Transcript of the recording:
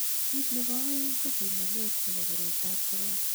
kiit nebo oeng ko pimanet nebo koroitab korona